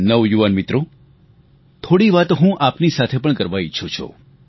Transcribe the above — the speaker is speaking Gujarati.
નવયુવાન મિત્રો થોડી વાતો હું આપની સાથે પણ કરવા ઈચ્છું છું